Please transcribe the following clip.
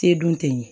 Te dun ten